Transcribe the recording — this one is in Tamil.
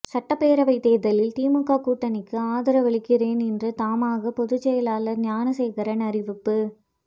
சட்டப்பேரவை தேர்தலில் திமுக கூட்டணிக்கு ஆதரவளிக்கிறேன் என்று தமாகா பொதுச் செயலாளர் ஞானசேகரன் அறிவிப்பு